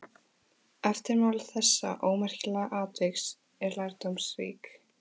Eftirmál þessa ómerkilega atviks eru lærdómsrík.